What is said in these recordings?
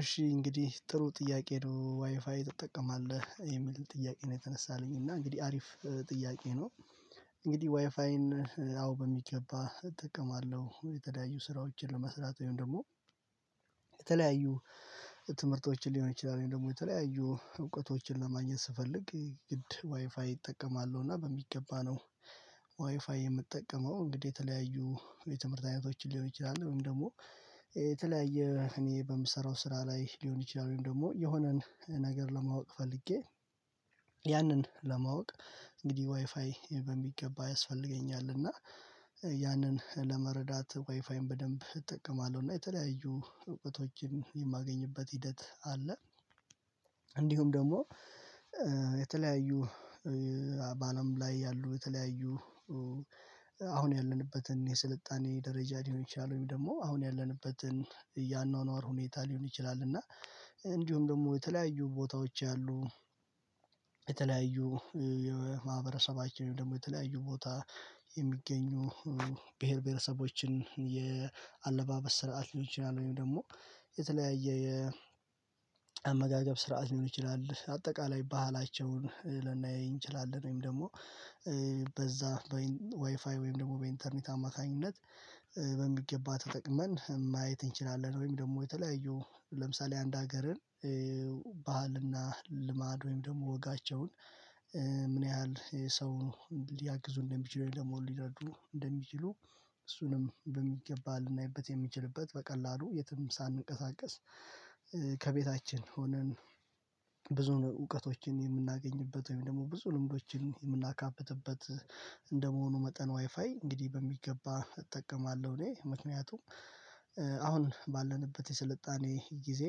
እሺ እንግዲህ ጥሩ ጥያቄ ነው ዋይፋይ ትጠቀማለህ? የሚል ጥያቄ ነው የተነሳልኝ እና እንግዲህ አሪፍ ጥያቄ ነው። እንግዲህ ዋይፋይን አዎ በሚገባ እጠቀማለሁ። የተለያዩ ስራዎችን ለመስራት ወይም ደግሞ የተለያዩ ትምህርቶችን ሊሆን ይችላል ወይም ደግሞ የተለያዩ እውቀቶችን ለማግኘት ስፈልግ ግድ ዋይፋይ እጠቀማለሁ እና በሚገባ ነው ዋይፋይ የምጠቀመው። እንግዲህ የተለያዩ የትምህርት አይነቶችን ሊሆን ይችላል ወይም ደግሞ የተለያየ እኔ በምሰራው ስራ ላይ ሊሆን ይችላል ወይም ደግሞ የሆነን ነገር ለማወቅ ፈልጌ ያንን ለማወቅ እንግዲህ ዋይፋይ በሚገባ ያስፈልገኛል እና ያንን ለመረዳት ዋይፋይን በደንብ እጠቀማለሁ እና የተለያዩ እውቀቶችን የማገኝበት ሂደት አለ። እንዲሁም ደግሞ የተለያዩ በአለም ላይ ያሉ የተለያዩ አሁን ያለንበትን የስልጣኔ ደረጃ ሊሆን ይችላል ወይም ደግሞ አሁን ያለንበትን ያኗኗር ሁኔታ ሊሆን ይችላል እና እንዲሁም ደግሞ የተለያዩ ቦታዎች ያሉ የተለያዩ የማህበረሰባችን ደግሞ የተለያዩ ቦታ የሚገኙ ብሄር ብሄረሰቦችን የአለባበስ ስርዓት ሊሆን ይችላል ወይም ደግሞ የተለያየ የአመጋገብ ስርዓት ሊሆን ይችላል አጠቃላይ ባህላቸውን ልናየኝ እንችላለን ወይም ደግሞ በዛ በዋይፋይ ወይም ደግሞ በኢንተርኔት አማካኝነት በሚገባ ተጠቅመን ማየት እንችላለን ወይም ደግሞ የተለያዩ ለምሳሌ አንድ ሀገርን ባህልና ልማድ ወይም ደግሞ ወጋቸውን ምን ያህል ሰው ሊያግዙ እንደሚችሉ ደግሞ ሊረዱ እንደሚችሉ እሱንም በሚገባ ልናይበት የምንችልበት በቀላሉ የትም ሳንንቀሳቀስ ከቤታችን ሆነን ብዙ እውቀቶችን የምናገኝበት ወይም ደግሞ ብዙ ልምዶችን የምናካብትበት እንደመሆኑ መጠን ዋይፋይ እንግዲህ በሚገባ እጠቀማለሁ እኔ ምክንያቱም አሁን ባለንበት የስልጣኔ ጊዜ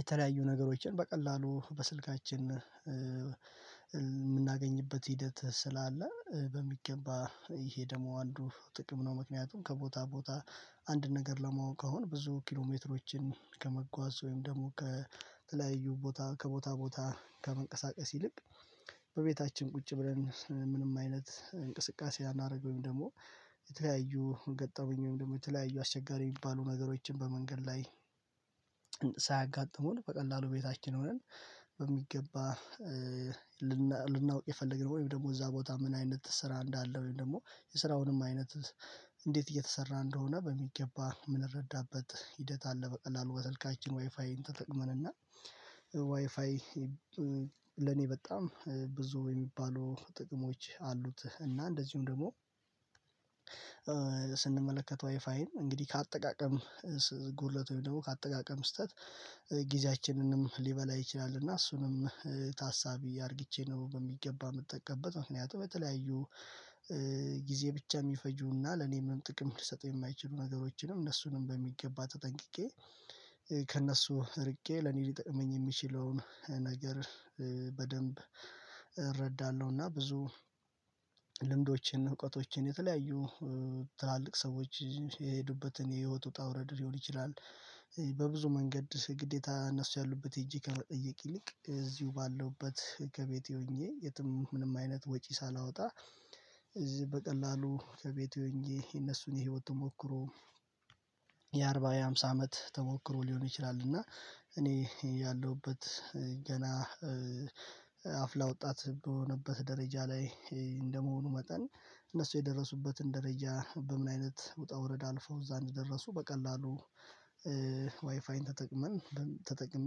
የተለያዩ ነገሮችን በቀላሉ በስልካችን የምናገኝበት ሂደት ስላለ በሚገባ ይሄ ደግሞ አንዱ ጥቅም ነው። ምክንያቱም ከቦታ ቦታ አንድ ነገር ለማወቅ አሁን ብዙ ኪሎሜትሮችን ከመጓዝ ወይም ደግሞ ከተለያዩ ቦታ ከቦታ ቦታ ከመንቀሳቀስ ይልቅ በቤታችን ቁጭ ብለን ምንም አይነት እንቅስቃሴ ሳናደርግ ወይም ደግሞ የተለያዩ ገጠመኝ ወይም ደግሞ የተለያዩ አስቸጋሪ የሚባሉ ነገሮችን በመንገድ ላይ ሳያጋጥሙን በቀላሉ ቤታችን ሆነን በሚገባ ልናውቅ የፈለግነው ወይም ደግሞ እዛ ቦታ ምን አይነት ስራ እንዳለ ወይም ደግሞ የስራውንም አይነት እንዴት እየተሰራ እንደሆነ በሚገባ የምንረዳበት ሂደት አለ። በቀላሉ በስልካችን ዋይፋይን ተጠቅመን እና ዋይፋይ ለኔ በጣም ብዙ የሚባሉ ጥቅሞች አሉት እና እንደዚሁም ደግሞ ስንመለከተው ዋይፋይን እንግዲህ ከአጠቃቀም ጉድለት ወይም ደግሞ ከአጠቃቀም ስህተት ጊዜያችንንም ሊበላ ይችላል እና እሱንም ታሳቢ አድርግቼ ነው በሚገባ የምጠቀምበት ምክንያቱም በተለያዩ ጊዜ ብቻ የሚፈጁና ለኔም ጥቅም ሊሰጥ የማይችሉ ነገሮችንም እነሱንም በሚገባ ተጠንቅቄ ከእነሱ ርቄ ለኔ ሊጠቅመኝ የሚችለውን ነገር በደንብ እረዳለሁ እና ብዙ ልምዶቼን እውቀቶቼን የተለያዩ ትላልቅ ሰዎች የሄዱበትን የህይወት ውጣ ውረድ ሊሆን ይችላል በብዙ መንገድ ግዴታ እነሱ ያሉበት ሄጄ ከመጠየቅ ይልቅ እዚሁ ባለሁበት ከቤቴ ሆኜ የትም ምንም አይነት ወጪ ሳላወጣ እዚህ በቀላሉ ከቤቴ ሆኘ የእነሱን የህይወት ተሞክሮ የአርባ የአምሳ አመት ተሞክሮ ሊሆን ይችላል እና እኔ ያለሁበት ገና አፍላ ወጣት በሆነበት ደረጃ ላይ እንደመሆኑ መጠን እነሱ የደረሱበትን ደረጃ በምን አይነት ውጣ ውረድ አልፈው እዛ እንደደረሱ በቀላሉ ዋይፋይን ተጠቅመን ተጠቅሜ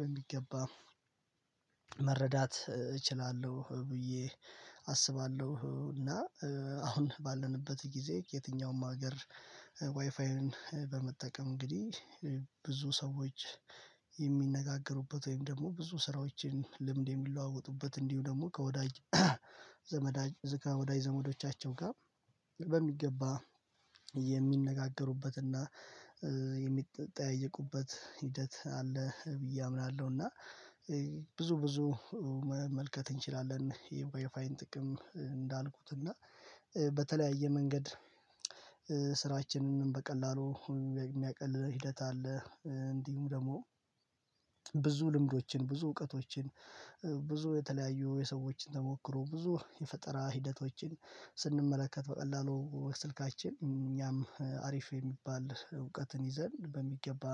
በሚገባ መረዳት እችላለሁ ብዬ አስባለሁ። እና አሁን ባለንበት ጊዜ የትኛውም ሀገር ዋይፋይን በመጠቀም እንግዲህ ብዙ ሰዎች የሚነጋገሩበት ወይም ደግሞ ብዙ ስራዎችን ልምድ የሚለዋወጡበት እንዲሁ ደግሞ ከወዳጅ ዘመዳጅ ዝጋ ወዳጅ ዘመዶቻቸው ጋር በሚገባ የሚነጋገሩበትና የሚጠያየቁበት ሂደት አለ ብዬ አምናለሁ እና ብዙ ብዙ መመልከት እንችላለን የዌይፋይን ጥቅም እንዳልኩት እና በተለያየ መንገድ ስራችንን በቀላሉ የሚያቀልልን ሂደት አለ እንዲሁም ደግሞ ብዙ ልምዶችን ብዙ እውቀቶችን ብዙ የተለያዩ የሰዎችን ተሞክሮ ብዙ የፈጠራ ሂደቶችን ስንመለከት በቀላሉ ስልካችን እኛም አሪፍ የሚባል እውቀትን ይዘን በሚገባ